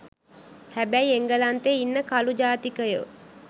හැබැයි එංගලන්තේ ඉන්න කළු ජාතිකයෝ